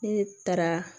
Ne taara